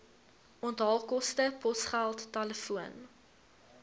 onthaalkoste posgeld telefoon